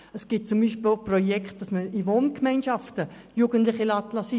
Es gibt zum Beispiel auch Projekte, bei denen Jugendliche in Wohngemeinschaften platziert werden.